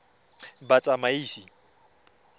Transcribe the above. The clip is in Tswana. batsamaisi